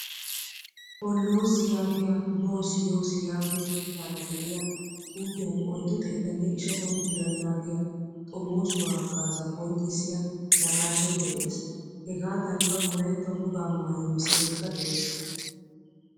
Hollozi yaagiyaa boosi yoosi yaagiyaa kiitaara de'iyaa xuufiyan oyddu xeettanne ishshatamu bira yaagiyaa xoomosuwaa hagaazza qonccisiyaa naaqashshay de'ees. Hegadankka wolaytta wogaa maayuwaa misilekka de'ees.